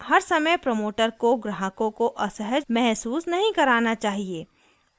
हर समय प्रोमोटर को ग्राहकों को असहज महसूस नहीं कराना चाहिए